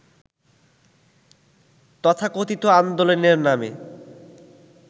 তথাকথিত আন্দোলনের নামে